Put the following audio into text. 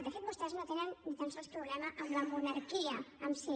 de fet vostès no tenen ni tan sols problema amb la monarquia en si